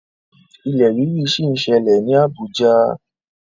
Ilẹ̀ rírì ṣì ń ṣẹlẹ̀ ní Abuja.